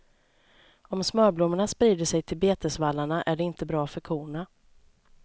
Om smörblommorna sprider sig till betesvallarna är det inte bra för korna.